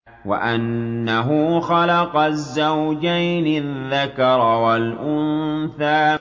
وَأَنَّهُ خَلَقَ الزَّوْجَيْنِ الذَّكَرَ وَالْأُنثَىٰ